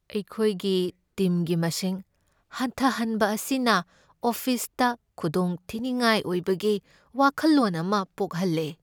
ꯑꯩꯈꯣꯏꯒꯤ ꯇꯤꯝꯒꯤ ꯃꯁꯤꯡ ꯍꯟꯊꯍꯟꯕ ꯑꯁꯤꯅ ꯑꯣꯐꯤꯁꯇꯥ ꯈꯨꯗꯣꯡꯊꯤꯅꯤꯡꯉꯥꯏ ꯑꯣꯏꯕꯒꯤ ꯋꯥꯈꯜꯂꯣꯟ ꯑꯃ ꯄꯣꯛꯍꯜꯂꯦ꯫